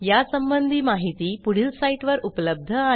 यासंबंधी माहिती पुढील साईटवर उपलब्ध आहे